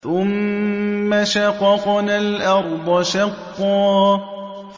ثُمَّ شَقَقْنَا الْأَرْضَ شَقًّا